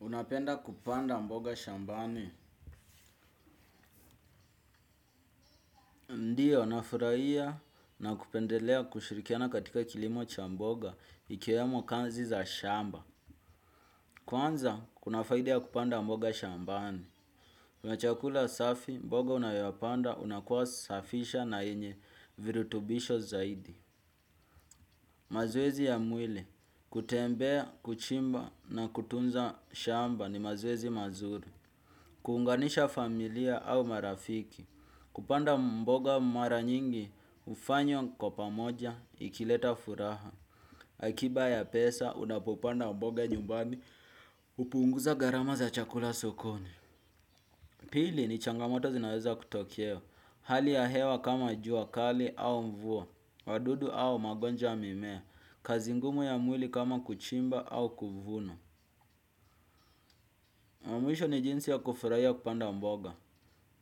Unapenda kupanda mboga shambani? Ndio, nafurahia na kupendelea kushirikiana katika kilimo cha mboga, ikiwemo kazi za shamba. Kwanza, kuna faida ya kupanda mboga shambani. Chakula safi, mboga unayopanda, inakuwa safi na yenye virutubisho zaidi. Mazoezi ya mwili, kutembea, kuchimba na kutunza shamba ni mazoezi mazuri. Kuunganisha familia au marafiki, kupanda mboga mara nyingi, hufanya mko pamoja, ikileta furaha. Akiba ya pesa, unapopanda mboga nyumbani, upunguza gharama za chakula sokoni. Pili ni changamoto zinaweza kutokea, hali ya hewa kama jua kali au mvua, wadudu au magonjwa ya mimea, kazi ngumu ya mwili kama kuchimba au kuvuna. La mwisho ni jinsi ya kufurahia kupanda mboga.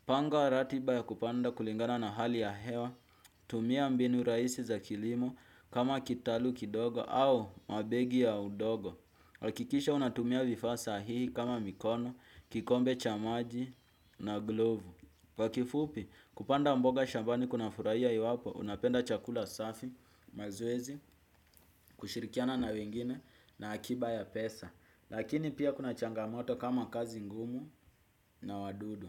Panga ratiba ya kupanda kulingana na hali ya hewa, tumia mbinu rahisi za kilimo kama kitalu kidogo au mabegi ya udongo. Hakikisha unatumia vifaa sahihi kama mikono, kikombe cha maji na glovu. Kwa kifupi, kupanda mboga shambani kuna furahia iwapo, unapenda chakula safi, mazoezi, kushirikiana na wengine na akiba ya pesa. Lakini pia kuna changamoto kama kazi ngumu na wadudu.